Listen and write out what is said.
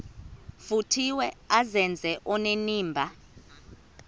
vuthiwe azenze onenimba